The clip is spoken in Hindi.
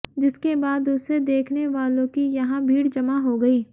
जिसके बाद उसे देखनेवालों की यहां भीड़ जमा हो गई